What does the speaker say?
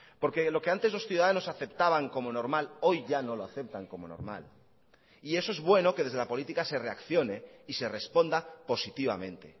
porque lo que antes los ciudadanos aceptaban como normal hoy ya no lo aceptan como normal y eso es bueno que desde la política se reaccione y se responda positivamente